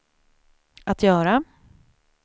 att göra